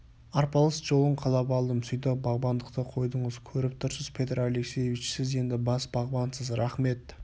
арпалыс жолын қалап алдым сөйтіп бағбандықты қойдыңыз көріп тұрсыз петр алексеевич сіз енді бас бағбансыз рақмет